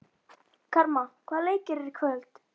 Karma, hvaða leikir eru í kvöld?